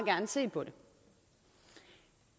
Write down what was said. gerne se på det